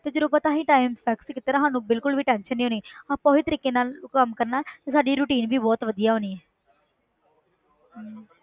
ਤੇ ਜਦੋਂ ਆਪਾਂ ਇਹੀ time fix ਕੀਤਾ ਸਾਨੂੰ ਬਿਲਕੁਲ ਵੀ tension ਨੀ ਹੋਣੀ ਆਪਾਂ ਉਹੀ ਤਰੀਕੇ ਨਾਲ ਕੰਮ ਕਰਨਾ ਤੇ ਸਾਡੀ routine ਵੀ ਬਹੁਤ ਵਧੀਆ ਹੋਣੀ ਹੈ ਹਮ